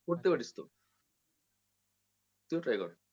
করতে পারিস তো তুই ও try কর।